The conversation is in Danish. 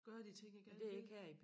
Gøre de ting jeg gerne vil